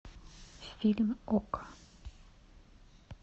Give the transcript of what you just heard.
фильм окко